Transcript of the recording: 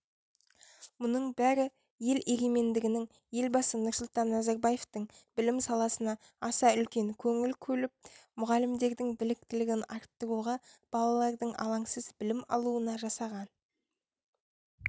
мұның бәрі ел егемендігінің елбасы нұрсұлтан назарбаевтың білім саласына аса үлкен көңіл көліп мұғалімдердің біліктілігін арттыруға балалардың алаңсыз білім алуына жасаған